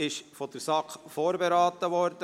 Dieses ist von der SAK vorberaten worden.